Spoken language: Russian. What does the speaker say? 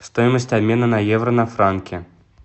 стоимость обмена на евро на франки